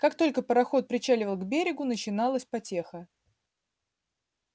как только пароход причаливал к берегу начиналась потеха